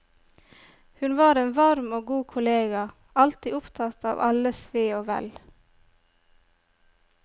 Hun var en varm og god kollega, alltid opptatt av alles ve og vel.